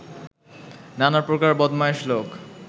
নানা প্রকার বদমায়েশ লোক